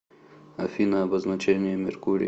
афина обозначение меркурий